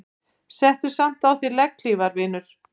Settu samt á þig legghlífar vinur.